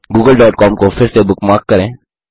Google.com को फिर से बुकमार्क करें